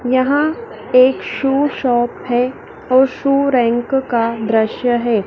यहाँ एक shoe shop है और शू रैंक का दृश्य है।